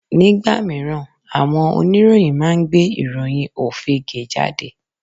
Nígbà míràn àwọn oníròyìn máa ń gbé ìròyìn òfegè jáde